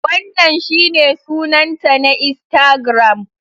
Wannan shine sunanta na Instagram.